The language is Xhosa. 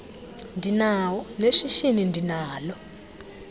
ndinawo neshishini ndinalo